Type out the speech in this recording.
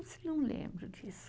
Não lembro disso.